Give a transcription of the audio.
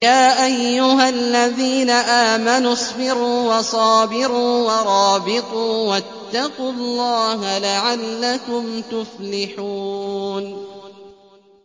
يَا أَيُّهَا الَّذِينَ آمَنُوا اصْبِرُوا وَصَابِرُوا وَرَابِطُوا وَاتَّقُوا اللَّهَ لَعَلَّكُمْ تُفْلِحُونَ